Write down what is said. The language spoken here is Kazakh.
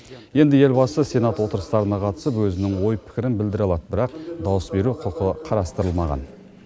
енді елбасы сенат отырыстарына қатысып өзінің ой пікірін білдіре алады бірақ дауыс беру құқы қарастырылмаған